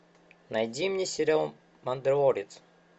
найди мне сериал мандалорец